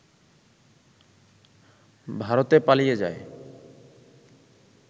ভারতে পালিয়ে যায়